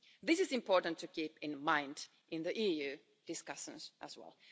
This is important to keep in mind in the EU discussions as well.